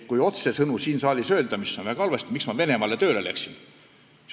Kordan otsesõnu siin saalis seda küsimust, mis kõlas väga halvasti: miks ma Venemaale tööle lähen?